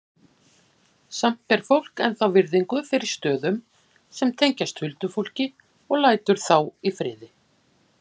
Samt ber fólk ennþá virðingu fyrir stöðum sem tengjast huldufólki og lætur þá í friði.